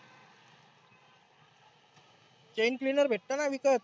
chain cleaner भेटतं ना विकत.